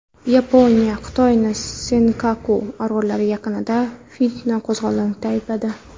Yaponiya Xitoyni Senkaku orollari yaqinida fitna qo‘zg‘aganlikda aybladi.